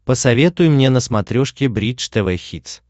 посоветуй мне на смотрешке бридж тв хитс